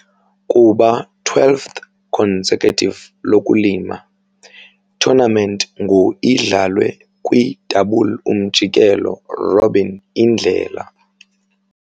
Kuba twelfth consecutive lokulima, tournament ngu idlalwe kwi double umjikelo-robin indlela.